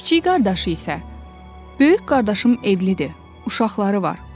Kiçik qardaşı isə, böyük qardaşım evlidir, uşaqları var.